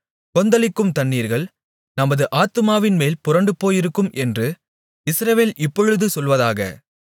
கொந்தளிக்கும் தண்ணீர்கள் நமது ஆத்துமாவின்மேல் புரண்டுபோயிருக்கும் என்று இஸ்ரவேல் இப்பொழுது சொல்வதாக